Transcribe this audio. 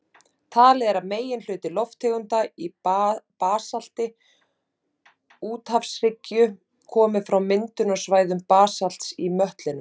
Talið er að meginhluti lofttegunda í basalti úthafshryggja komi frá myndunarsvæðum basalts í möttlinum.